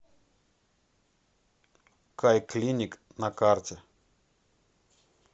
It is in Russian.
кайклиник на карте